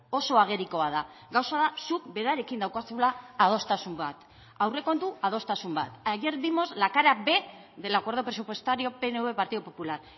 oso agerikoa da gauza da zuk berarekin daukazula adostasun bat aurrekontu adostasun bat ayer vimos la cara b del acuerdo presupuestario pnv partido popular